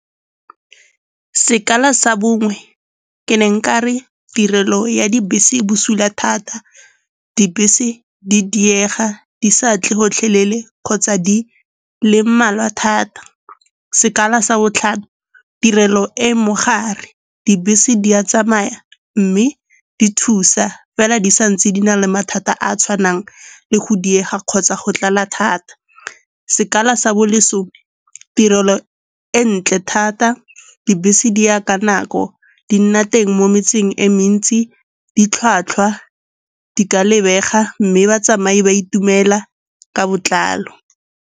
Sekala sa bongwe, ke ne nka re tirelo ya dibese e busula thata, dibese di diega di sa tle gotlhelele kgotsa di le mmalwa thata. Sekala sa botlhano, tirelo e mogare. Dibese di a tsamaya mme di thusa, fela di sa ntse di na le mathata a a tshwanang le go diega kgotsa go tlala thata. Sekala sa bo lesome, tirelo e ntle thata, dibese di ya ka nako, di nna teng mo metseng e mentsi, ditlhwatlhwa, di ka lebega mme batsamai ba itumela ka botlalo.